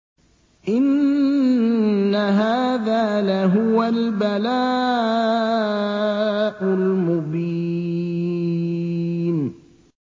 إِنَّ هَٰذَا لَهُوَ الْبَلَاءُ الْمُبِينُ